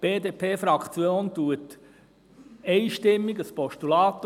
Die BDP-Fraktion unterstützt einstimmig ein Postulat.